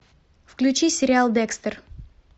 включи сериал декстер